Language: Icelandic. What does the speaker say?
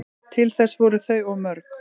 Til þess voru þau of mörg